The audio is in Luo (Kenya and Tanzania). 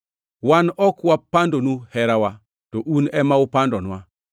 Wan ok wapandonu herawa, to un ema upandonwa.